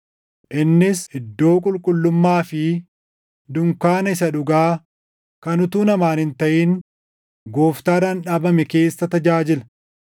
Innis iddoo qulqullummaa fi dunkaana isa dhugaa kan utuu namaan hin taʼin Gooftaadhaan dhaabame keessa tajaajila.